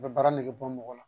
U bɛ baara nege bɔ mɔgɔ la